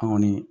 An kɔni